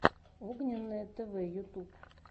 огненное тв ютуб